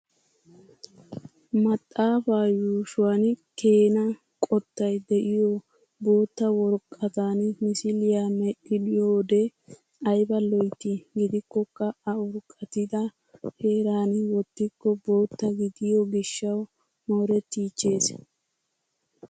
Maxaafaa yuushuwan keena qottay diyo bootaa worqqatan misiliya medhdhiyoode ayba loyttii. Gidikkokka A urqqatida heeran wottikko bootta gidiyo gishshawu moorettiichchees.